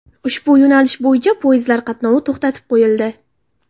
Ushbu yo‘nalish bo‘yicha poyezdlar qatnovi to‘xtatib qo‘yildi.